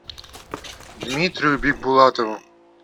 дмитрию бикбулатову